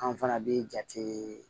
An fana bɛ jatei